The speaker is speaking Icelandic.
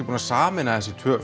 búinn að sameina þessi tvö